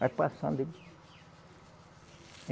Vai passando ali.